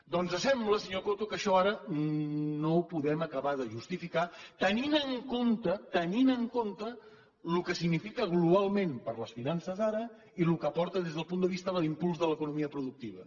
doncs sembla senyor coto que això ara no ho podem acabar de justificar tenint en compte tenint en compte el que significa globalment per a les finances ara i el que porta des del punt de vista d’impuls de l’economia productiva